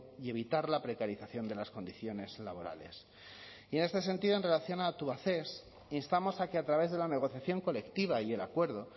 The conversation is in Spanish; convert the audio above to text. y evitar la precarización de las condiciones laborales y en este sentido en relación a tubacex instamos a que a través de la negociación colectiva y el acuerdo